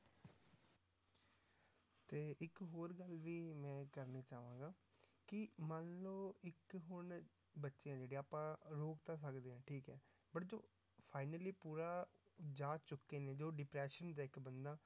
ਤੇ ਇੱਕ ਹੋਰ ਗੱਲ ਵੀ ਮੈਂ ਇਹ ਕਰਨੀ ਚਾਹਾਂਗਾ ਕਿ ਮੰਨ ਲਓ ਇੱਕ ਹੁਣ ਬੱਚੇ ਆ ਜਿਹੜੇ ਆਪਾਂ ਰੋਕ ਤਾਂ ਸਕਦੇ ਹਾਂ ਠੀਕ ਹੈ but ਜੋ finally ਪੂਰਾ ਜਾ ਚੁੱਕੇ ਨੇ ਜੋ depression ਦਾ ਇੱਕ ਬੰਦਾ